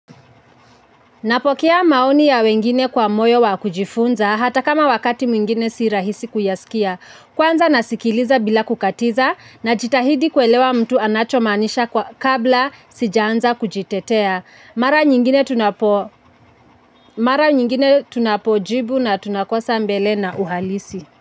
Napokea maoni ya wengine kwa moyo wa kujifunza hata kama wakati mwingine sirahisi kuyasikia. Kwanza nasikiliza bila kukatiza najitahidi kuelewa mtu anachomaanisha kabla sijaanza kujitetea mara nyingine tuna mara nyingine tunapojibu na tunakosa mbele na uhalisi.